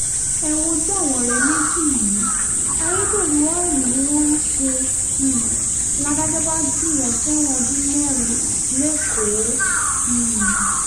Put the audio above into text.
ẹ wojú àwọn ọ̀rẹ́ méjì yìí ayédèrú ọ́ìlì ni wọ́n ń ṣe um ládàjọ́ bá jù wọ́n sẹ́wọ̀n ọdún mẹ́rin lẹ́kọ̀ọ́ um